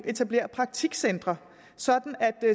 etablering af praktikcentre så